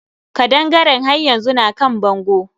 Kaɗangaren haryanzu na kan bango.